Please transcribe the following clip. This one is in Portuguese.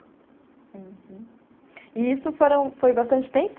Uhum. E isso foram foi bastante tempo?